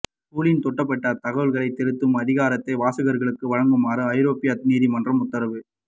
கூகிளின் தேடப் பட்ட தகவல்களைத் திருத்தும் அதிகாரத்தை வாசகர்களுக்கு வழங்குமாறு ஐரோப்பிய நீதிமன்ற உத்தரவு